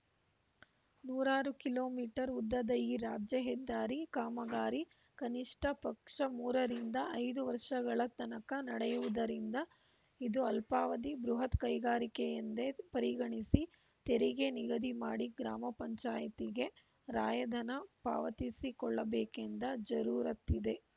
ನೂರಾರು kilometre ಉದ್ದದ ಈ ರಾಜ್ಯ ಹೆದ್ದಾರಿ ಕಾಮಗಾರಿ ಕನಿಷ್ಠ ಪಕ್ಷ ಮೂರರಿಂದ ಐದು ವರ್ಷಗಳ ತನಕ ನಡೆಯುವುದರಿಂದ ಇದು ಅಲ್ಪಾವಧಿ ಬೃಹತ್‌ ಕೈಗಾರಿಕೆಯೆಂದೇ ಪರಿಗಣಿಸಿ ತೆರಿಗೆ ನಿಗದಿ ಮಾಡಿ ಗ್ರಾಮ ಪಂಚಾಯತಿಗೆ ರಾಯಧನ ಪಾವತಿಸಿಕೊಳ್ಳಬೇಕಾದ ಜರೂರತ್ತಿದೆ